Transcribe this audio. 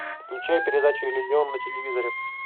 включай передачу иллюзион на телевизоре